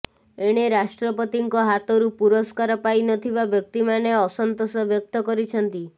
ଏଣେ ରାଷ୍ଟ୍ରପତିଙ୍କ ହାତରୁ ପୁରସ୍କାର ପାଇ ନ ଥିବା ବ୍ୟକ୍ତିମାନେ ଅସନ୍ତୋଷ ବ୍ୟକ୍ତ କରିଛନ୍ତି